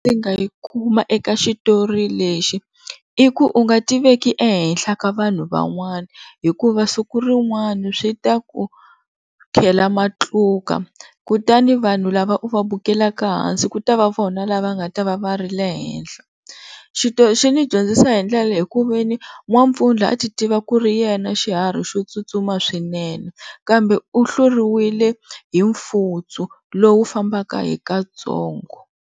Ndzi nga yi kuma eka xitori lexi i ku u nga ti veki ehenhla ka vanhu van'wana hikuva siku rin'wana swi ta ku khela matluka kutani vanhu lava u va bukelaka ehansi ku ta va vona lava nga ta va va ri le henhla. xi ni dyondzisa hi ndlela leyi ekuveni N'wampfundla a ti tiva ku ri yena xiharhi xo tsutsuma swinene kambe u hluriwile hi mfutsu lowu fambaka hi katsongo.